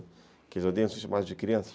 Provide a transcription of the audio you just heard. Aqueles que odeiam ser chamados de crianças.